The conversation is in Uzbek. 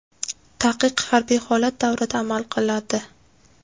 Taqiq harbiy holat davrida amal qiladi.